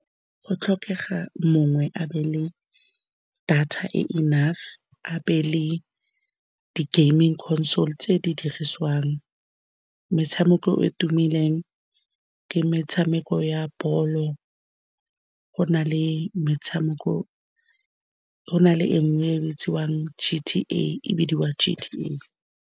Go tlhokega mongwe a be le data e e enough, a be le di gaming console. Tse di dirisiwang metshameko e e tumileng ke metshameko ya ball-o. Go na le metshameko, go na le e nngwe e bitswang G_T_A, e bidiwa G_T_A.